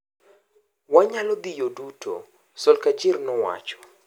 """Wanyalo dhi yo duto“” Solskjaer nowacho.